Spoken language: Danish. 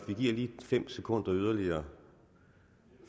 lige fem sekunder yderligere